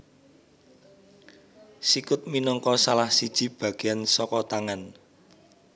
Sikut minangka salah siji bagéan saka tangan